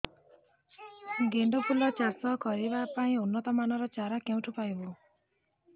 ଗେଣ୍ଡୁ ଫୁଲ ଚାଷ କରିବା ପାଇଁ ଉନ୍ନତ ମାନର ଚାରା କେଉଁଠାରୁ ପାଇବୁ